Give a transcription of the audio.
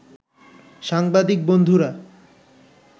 সাংবাদিক বন্ধুরা